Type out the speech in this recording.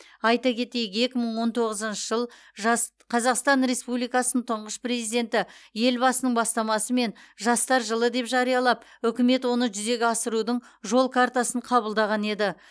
айта кетейік екі мың он тоғызыншы жыл жас қазақстан республикасының тұңғыш президенті елбасының бастамасымен жастар жылы деп жариялап үкімет оны жүзеге асырудың жол картасын қабылдаған еді